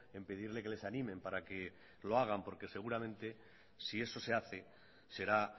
en pedirle que les animen para que lo hagan porque seguramente si eso se hace será